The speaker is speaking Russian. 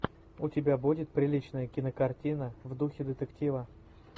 у тебя будет приличная кинокартина в духе детектива